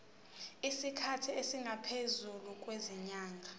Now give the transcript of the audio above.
isikhathi esingaphezulu kwezinyanga